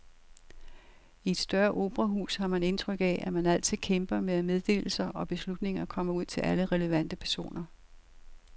I et større operahus har man indtryk af, at man altid kæmper med, at meddelelser og beslutninger kommer ud til alle relevante personer.